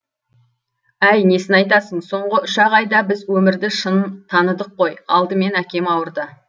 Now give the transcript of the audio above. әй несін айтасың соңғы үш ақ айда біз өмірді шын таныдық қой алдымен әкем ауырды